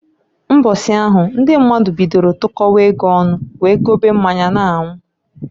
Mbọsị ahụ ndị mmadụ bidolu tụkọwa ego ọnụ wee gobe mmanya n'anwụ.